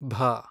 ಭ